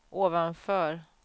ovanför